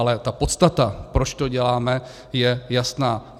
Ale ta podstata, proč to děláme, je jasná.